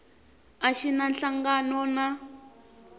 a xi na nhlangano na